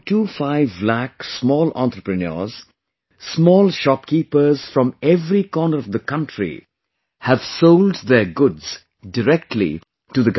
25 lakh small entrepreneurs, small shopkeepers from every corner of the country have sold their goods directly to the government